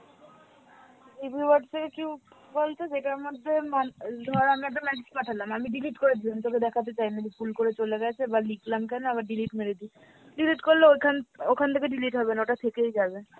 GB Whatsapp বল তো যেটার মধ্যে মান ধর আমি একটা message পাঠালাম, আমি delete করে দিলাম তোকে দেখাতে চাই না, ভুল করে চলে গেছে বা লিখলাম কেন আবার delete মেরে দি। delete করলে ওখান, ওখান থেকে delete হবে না ওটা থেকেই যাবে